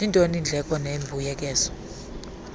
zintoni iindleko nembuyekezo